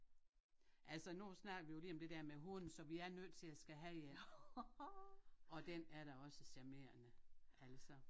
Altså nu snakkede vi jo lige om det dér med hund så vi er nødt til at skal have en og den er da også charmerende altså